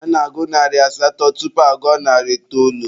A na-agụ narị asatọ tupu agụọ narị itoolu.